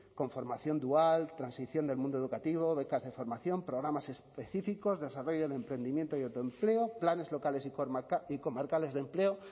con formación dual transición del mundo educativo becas de formación programas específicos de desarrollo del emprendimiento y autoempleo planes locales y comarcales de empleo